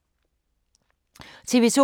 TV 2